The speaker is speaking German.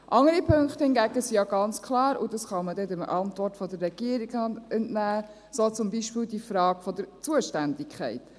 Andere Punkte hingegen sind ja ganz klar, und dies kann man auch der Antwort der Regierung entnehmen, so zum Beispiel die Frage der Zuständigkeit.